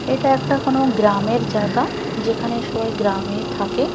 এটা একটা কোনো গ্রামের জায়গা যেখানে সবাই গ্রামে থাকে।